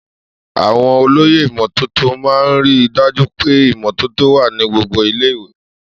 Àwọn olóyè ìmọ́tótó máa ń rí i dájú pé ìmọ́tótó wà ní gbogbo ilé-ìwé.